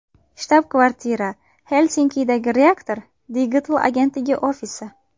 Shtab-kvartira: Xelsinkidagi Reaktor digital-agentligi ofisi.